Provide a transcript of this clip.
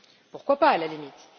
Pourquoi pas, à la limite?